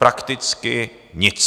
Prakticky nic.